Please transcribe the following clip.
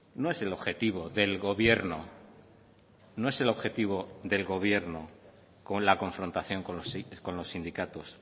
no es el objetivo del gobierno no es el objetivo del gobierno con la confrontación con los sindicatos